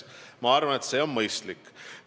Ma arvan, et see on mõistlik.